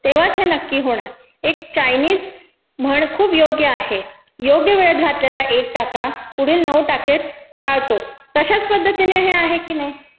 तेव्हाच हे नक्की होणार. एक चायनिज म्हण खूप योग्य आहे, योग्य वेळेत घातलेला एक टाका पुढील नऊ टाके टाळतो. तशाच पद्धतीने हे आहे की नयी?